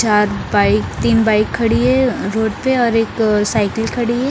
चार बाइक तीन बाइक खड़ी हैं अ रोड पे और एक साइकिल खड़ी हैं ।